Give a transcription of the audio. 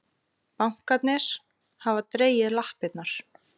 Bankarnir hafa dregið lappirnar